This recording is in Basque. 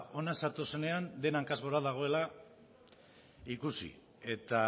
hona zatozenean dena hankaz gora dagoela ikusi eta